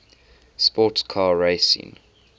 sports car racing